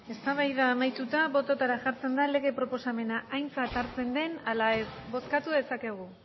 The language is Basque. eztabaida amaituta botoetara jartzen da lege proposamena aintzat hartzen den ala ez bozkatu dezakegu